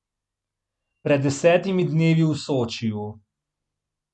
Pred desetimi dnevi v Sočiju ...